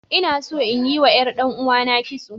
Ina so inyi wa ƴar ɗan'uwana kitso.